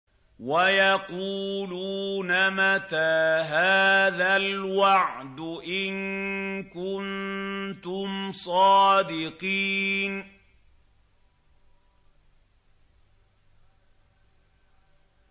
وَيَقُولُونَ مَتَىٰ هَٰذَا الْوَعْدُ إِن كُنتُمْ صَادِقِينَ